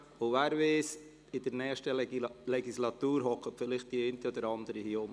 Und, wer weiss: In der nächsten Legislatur sitzt vielleicht die eine oder andere hier unten.